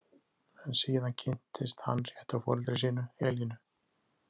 En síðan kynntist hann réttu foreldri sínu, Elínu.